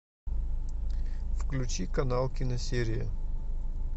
включи канал киносерия